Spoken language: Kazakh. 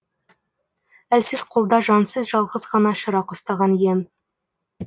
әлсіз қолда жансыз жалғыз ғана шырақ ұстаған ем